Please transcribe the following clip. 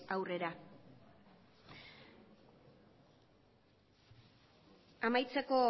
aurrera amaitzeko